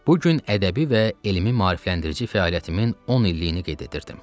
Bu gün ədəbi və elmi maarifləndirici fəaliyyətimin 10 illiyini qeyd edirdim.